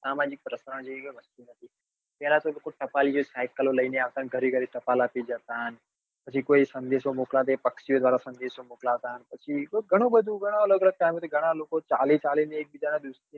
પેલા તો ટપાલી cycle લઇ ને આવતા અને ઘરે ઘરે ટપાલ આપી જતા. પછી કોઈ સંદેશ મોકલાવતા એ પક્ષીઓ દ્વારા સંદેશો મોકલાવતા પછી ઘણું બધું ઘણા અલગ અલગ ઘણાં લોકો ચાલી ચાલી ને એક બીજા